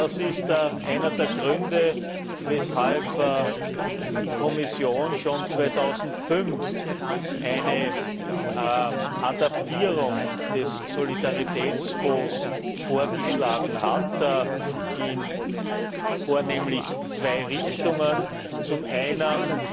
Das ist einer der Gründe, weshalb die Kommission schon 2005 eine Adaptierung des Solidaritätsfonds vorgeschlagen hat in vornehmlich zwei Richtungen zum Einen